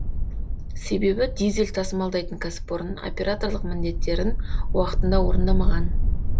себебі дизель тасымалдайтын кәсіпорын операторлық міндеттерін уақытында орындамаған